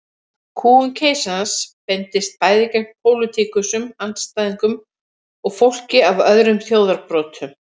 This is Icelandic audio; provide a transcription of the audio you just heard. Kúgun keisarans beindist bæði gegn pólitískum andstæðingum og fólki af öðrum þjóðarbrotum.